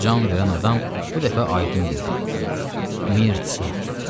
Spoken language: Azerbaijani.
Can verən adam bu dəfə aydın dedi: “Mirtsa!”